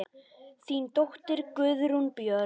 Þín dóttir, Guðrún Björg.